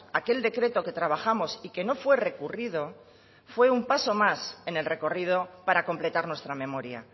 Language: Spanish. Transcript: aquel decreto que trabajamos y que no fue recurrido fue un paso más en el recorrido para completar nuestra memoria